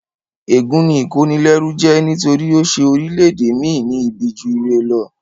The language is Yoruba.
Ègún ni ìkónilẹ́rú jẹ́ nítorí ó ṣe orílẹ̀-ède mi ní ibi ju ire lọ